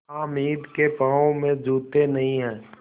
हामिद के पाँव में जूते नहीं हैं